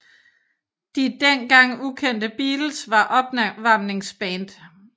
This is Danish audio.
De den gang ukendte Beatles var opvarmningsband